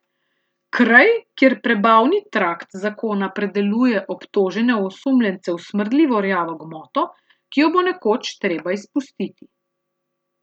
Kraj, kjer prebavni trakt zakona predeluje obtožene osumljence v smrdljivo rjavo gmoto, ki jo bo nekoč treba izpustiti.